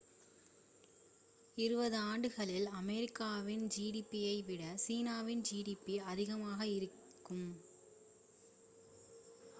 இருபதாண்டுகளில் அமெரிக்காவின் gdp யை விட சீனாவின் gdp அதிகமாக இருக்கும்